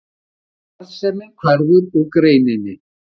Arðsemin hverfur úr greininni